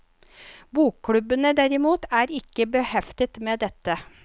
Bokklubbene derimot, er ikke beheftet med dette.